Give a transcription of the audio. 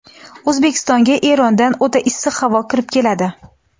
O‘zbekistonga Erondan o‘ta issiq havo kirib keladi.